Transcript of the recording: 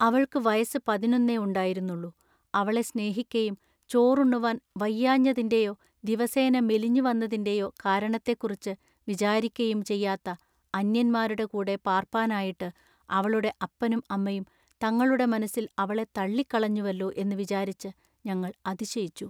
അവൾക്കു വയസ്സു പതിനൊന്നെയുണ്ടായിരുന്നുള്ളു. അവളെ സ്നേഹിക്കയും ചോറുണ്ണുവാൻ വഹിയാഞ്ഞതിന്റെയോ ദിവസേന മെലിഞ്ഞു വന്നതിന്റെയൊ കാരണത്തെക്കുറിച്ചു വിചാരിക്കയും ചെയ്യാത്ത അന്ന്യന്മാരുടെ കൂടെ പാൎപ്പാനായിട്ടു അവളുടെ അപ്പനും അമ്മയും തങ്ങളുടെ മനസ്സിൽ അവളെ തള്ളിക്കളഞ്ഞുവെല്ലൊ എന്നു വിചാരിച്ചു ഞങ്ങൾ അതിശയിച്ചു.